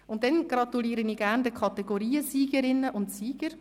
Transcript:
Dann gratuliere ich den Kategoriensiegerinnen und -siegern: